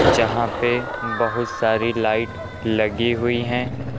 यहां पे बहुत सारी लाइट लगी हुई हैं।